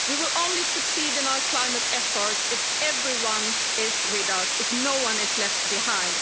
We will only succeed in our climate efforts if everyone is with us, if no one is left behind.